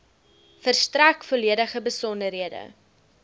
verstrek volledige besonderhede